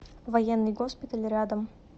военный госпиталь рядом